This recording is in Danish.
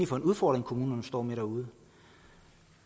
for en udfordring kommunerne står med derude